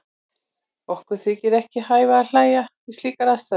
Okkur þykir ekki hæfa að hlæja við slíkar aðstæður.